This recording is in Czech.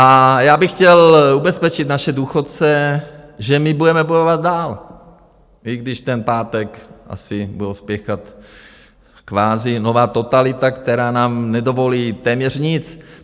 A já bych chtěl ubezpečit naše důchodce, že my budeme bojovat dál, i když ten pátek asi budou spěchat, kvazi nová totalita, která nám nedovolí téměř nic.